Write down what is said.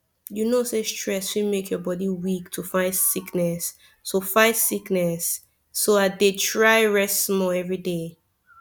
you know say stress fit make your body weak to fight sickness so fight sickness so i dey try rest small every day